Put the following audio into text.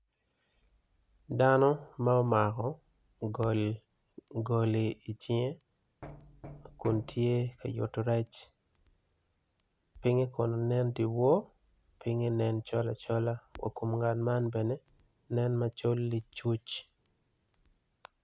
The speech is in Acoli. Dnao ma omako goli i cinge kun tye ka mako rec, pinge kono nen dyewo, pinye nen col acola wa kom ngat man bene nen col cuc.